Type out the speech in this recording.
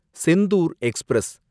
Senthur express